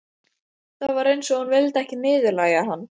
Það var eins og hún vildi ekki niðurlægja hann.